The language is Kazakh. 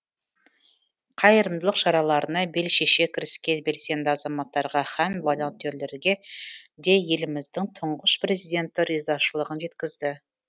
қайырымдылық шараларына бел шеше кіріскен белсенді азаматтарға һәм волонтерлерге де еліміздің тұңғыш президенті ризашылығын жеткізді